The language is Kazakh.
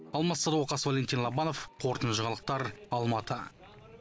алмас садуақас валентин лобанов қорытынды жаңалықтар алматы